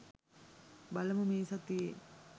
බලමු මේ සතියේ